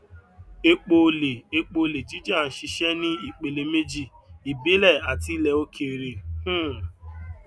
epo olè epo olè jíjà ń ṣiṣẹ ní ìpele méjì ìbílẹ àti ilẹ òkèèrè um